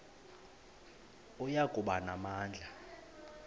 oya kuba namandla